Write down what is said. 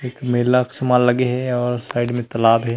एक मेला के समान लगे हे आऊ साइड म तालाब हे।